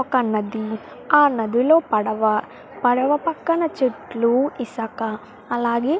ఒక నది ఆ నదిలో పడువ పడవ పక్కన చెట్లు ఇసుక అలాగే --